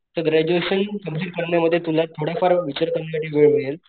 Graduation complete करण्यामध्ये तुला थोड फार विचार करण्याचा वेळ मिळेल.